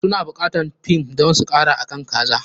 Su na buƙatan thyme don su kara akan kazan.